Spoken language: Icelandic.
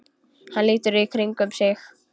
Hann lítur í kringum sig.